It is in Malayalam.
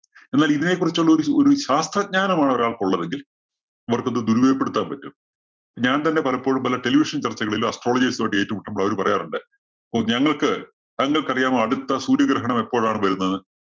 എന്നാല്‍ ഇതിനെ കുറിച്ചുള്ള ഒരു ഒരു ശാസ്ത്രജ്ഞാനമാണ് ഒരാള്‍ക്ക് ഒള്ളതെങ്കില്‍ അവര്‍ക്കത് ദുരുപയോഗപ്പെടുത്താന്‍ പറ്റും. ഞാന്‍ തന്നെ പലപ്പോഴും പല television ചര്‍ച്ചകളിലും astrologist മായിട്ട് ഏറ്റുമുട്ടുമ്പോള്‍ അവര് പറയാറുണ്ട്. ഓ, ഞങ്ങള്‍ക്ക് താങ്കള്‍ക്ക് അറിയാമോ? അടുത്ത സൂര്യഗ്രഹണം എപ്പോഴാണ് വരുന്നത്?